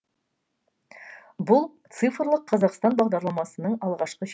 бұл цифрлық қазақстан бағдарламасының алғашқы жемістері